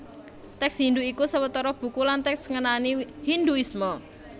Tèks Hindhu iku sawetara buku lan tèks ngenani Hindhuisme